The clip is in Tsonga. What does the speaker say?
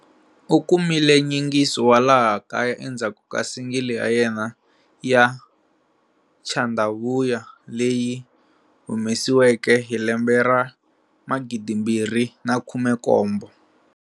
U kumile nyingiso wa laha kaya endzhaku ka single ya yena ya"Tshanda Vhuya" leyi humesiweke hi lembe ra 2017.